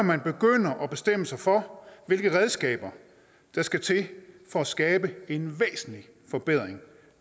man begynder at bestemme sig for hvilke redskaber der skal til for at skabe en væsentlig forbedring